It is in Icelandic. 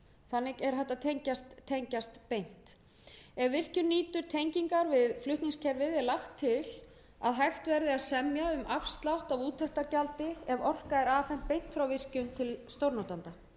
þannig er hægt að tengist beint ef virkjun nýtur tengingar við flutningskerfið er lagt til að hægt verði að semja um afslátt á úttektargjaldi ef orka er afhent beint frá virkjun til stórnotanda